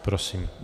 Prosím.